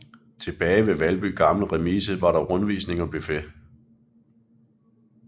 Tilbage ved Valby Gamle Remise var der rundvisning og buffet